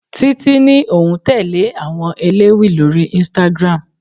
Títí ní òun tẹle àwọn elewi lórí Instagram.